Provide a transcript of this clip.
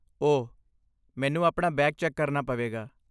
ਓਹ, ਮੈਨੂੰ ਆਪਣਾ ਬੈਗ ਚੈੱਕ ਕਰਨਾ ਪਵੇਗਾ।